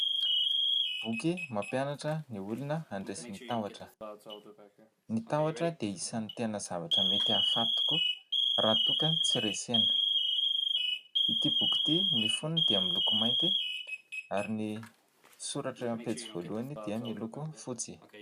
Boky mampianatra ny olona handresy ny tahotra. Ny tahotra dia isan'ny tena zavatra mety ahafaty tokoa raha toa ka tsy resena; ity boky ity: ny fonony dia miloko mainty ary ny soratra amin'ny pejy voalohany dia miloko fotsy.